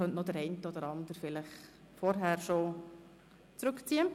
Man könnte durchaus noch den einen oder anderen Antrag schon vorher zurückziehen.